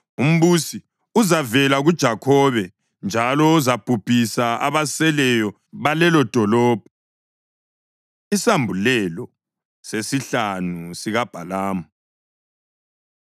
Umbusi uzavela kuJakhobe njalo uzabhubhisa abaseleyo balelodolobho.” Isambulelo Sesihlanu SikaBhalamu